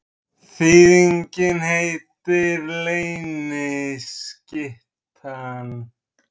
Þýðingin heitir Leyniskyttan.